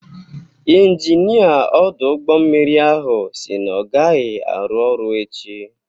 Injinia ọdụ ụgbọ mmiri ahụ si na ọ agaghị arụ ọrụ echi.